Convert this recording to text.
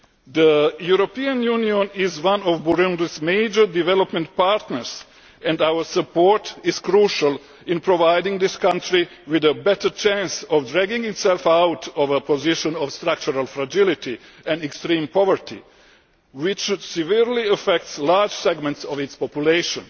The European Union is one of Burundi's major development partners, and our support is crucial in providing this country with a better chance of dragging itself out of a position of structural fragility and extreme poverty which severely affects large segments of its population.